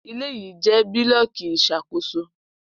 Ile yii jẹ bulọọki iṣakoso